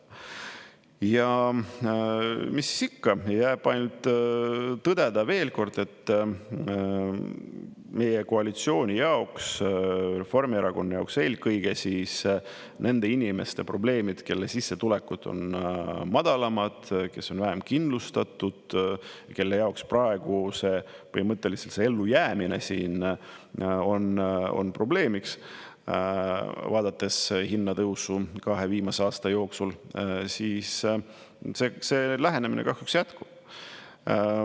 Ja mis siis ikka, jääb ainult tõdeda veel kord, et meie koalitsiooni jaoks, Reformierakonna jaoks eelkõige, nende inimeste probleemid, kelle sissetulekud on madalamad, kes on vähem kindlustatud, kelle jaoks praegu põhimõtteliselt ellujäämine siin on probleemiks, vaadates hinnatõusu kahe viimase aasta jooksul, see lähenemine kahjuks jätkub.